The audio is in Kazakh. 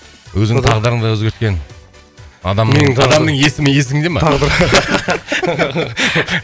өзіңнің тағдырыңды өзгерткен адамның адамның есімі есіңде ма